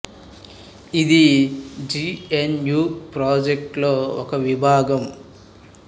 ఇది G N U project లో ఒక విభాగం